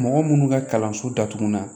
Mɔgɔ munnu ka kalanso datugula